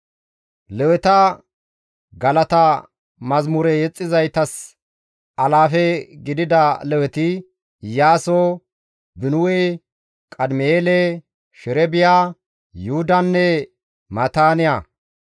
Leweta, Galata mazamure yexxissizaytas alaafe gididi leweti, Iyaaso, Binuwe, Qadim7eele, Sherebiya, Yuhudanne Maataaniya.